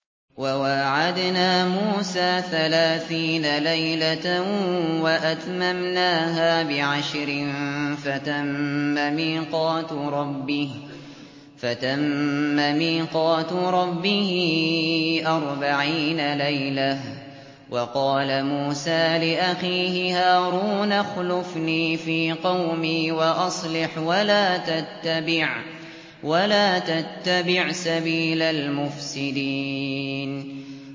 ۞ وَوَاعَدْنَا مُوسَىٰ ثَلَاثِينَ لَيْلَةً وَأَتْمَمْنَاهَا بِعَشْرٍ فَتَمَّ مِيقَاتُ رَبِّهِ أَرْبَعِينَ لَيْلَةً ۚ وَقَالَ مُوسَىٰ لِأَخِيهِ هَارُونَ اخْلُفْنِي فِي قَوْمِي وَأَصْلِحْ وَلَا تَتَّبِعْ سَبِيلَ الْمُفْسِدِينَ